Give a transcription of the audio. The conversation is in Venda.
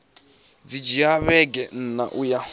dzi dzhia vhege nṋa uya